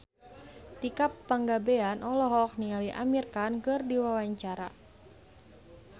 Tika Pangabean olohok ningali Amir Khan keur diwawancara